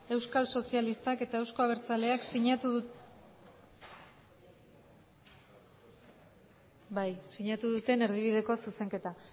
euskal sozialistak eta eusko abertzaleak sinatu duten erdibideko zuzenketa